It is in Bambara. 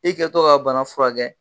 I kɛtɔ ka bana furakɛ.